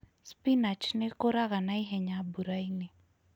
Spinach nĩ ĩkũraga na ihenya mbura-inĩ